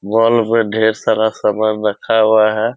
Wall पे ढ़ेर सारा सामान रखा हुआ है ।